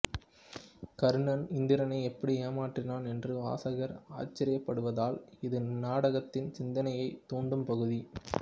கர்ணன் இந்திரனை எப்படி ஏமாற்றினான் என்று வாசகர் ஆச்சரியப்படுவதால் இது இந்நாடகத்தின் சிந்தனையைத் தூண்டும் பகுதி